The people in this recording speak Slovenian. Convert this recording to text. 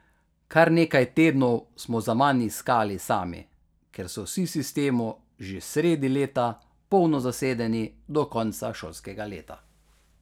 Kar nekaj tednov smo zaman iskali sami, ker so vsi v sistemu že sredi leta polno zasedeni do konca šolskega leta.